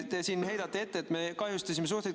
Te heidate meile ette, et me kahjustasime välissuhteid.